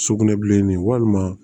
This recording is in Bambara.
Sugunɛbilenni walima